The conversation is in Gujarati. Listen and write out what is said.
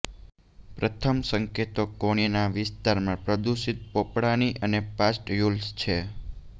પ્રથમ સંકેતો કોણીના વિસ્તારમાં પ્રદુષિત પોપડાની અને પાસ્ટ્યુલ્સ છે